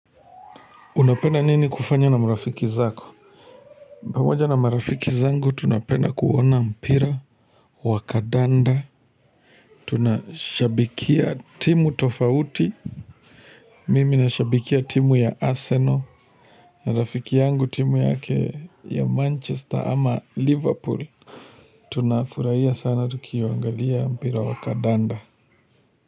Unapenda nini kufanya na marafiki zako? Pamoja na marafiki zangu tunapenda kuona mpira wa kandanda. Tunashabikia timu tofauti. Mimi nashabikia timu ya Arsenal. Na rafiki yangu timu yake ya Manchester ama Liverpool. Tunafurahia sana tukiangalia mpira wa kandanda.